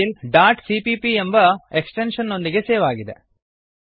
file dot cppಎಂಬ extension ನೊಂದಿಗೆ save ಆಗಿದೆ